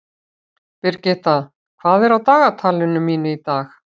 Brigitta, hvað er á dagatalinu mínu í dag?